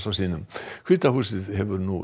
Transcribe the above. sínum hvíta húsið hefur nú